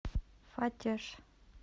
фатеж